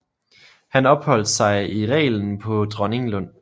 Han opholdt sig i reglen på Dronninglund